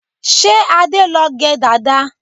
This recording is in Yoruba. Ṣé Adé ló gẹ dàda?